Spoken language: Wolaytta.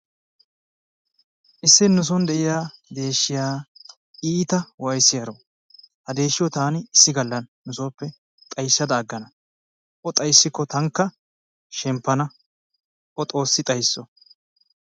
Issi nuson de"iya deeshshiya iita wayssiyaro ha deeshshiyo taani issi galla nusooppe xayssada aggana o xayssikko tankka shemppana o xoossi xaysso.